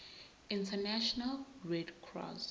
international red cross